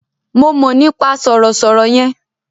Mo mọ̀ nípa sọ̀rọ̀ sọ̀rọ̀ yẹn.